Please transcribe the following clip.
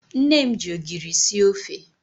Nne m ji ogiri sie ofe.